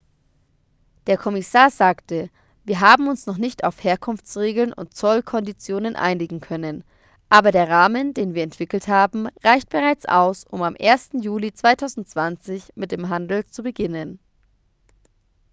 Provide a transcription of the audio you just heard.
der kommissar sagte wir haben uns noch nicht auf herkunftsregeln und zollkonditionen einigen können aber der rahmen den wir entwickelt haben reicht bereits aus um am 1. juli 2020 mit dem handel zu beginnen